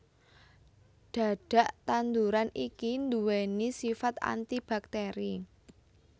Dhadhak tanduran iki duwéni sifat antibakteri